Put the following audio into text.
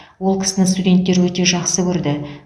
ол кісіні студенттер өте жақсы көрді